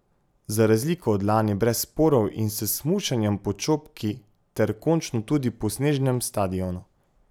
Za razliko od lani brez sporov in s smučanjem po Čopki ter končno tudi po Snežnem stadionu.